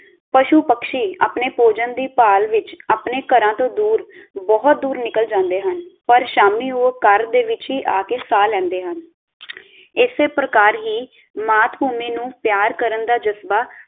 ਪਸ਼ੂ-ਪਕ੍ਸ਼ੀ ਆਪਣੇ ਭੋਜਨ ਦੀ ਭਾਲ ਵਿਚ ਆਪਣੇ ਘਰਾਂ ਤੋਂ ਦੂਰ ਬਹੁਤ ਦੂਰ ਨਿਕਲ ਜਾਂਦੇ ਹਨ ਪਰ ਸ਼ਾਮੀਂ ਉਹ ਘਰ ਦੇ ਵਿਚ ਹੀ ਆ ਕੇ ਸਾਹ ਲੈਂਦੇ ਹਨ ਇਸੇ ਪ੍ਰਕਾਰ ਹੀ ਮਾਤਭੂਮੀ ਨੂੰ ਪਿਆਰ ਕਰਨ ਦਾ ਜਜ਼ਬਾ।